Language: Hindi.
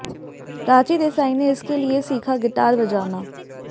प्राची देसाई ने इसके लिए सीखा गिटार बजाना